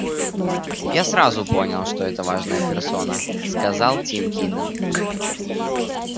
я сразу понял что это важная персона сказал тим кинен